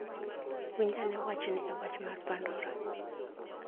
Winj ane wachni e wach mar pandora